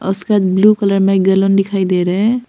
इसके बाद blue colour में एक गैलन दिखाई दे रहे हैं।